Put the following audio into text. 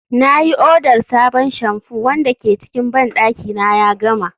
na yi odar sabon shamfu wanda ke cikin bandaki na ya gama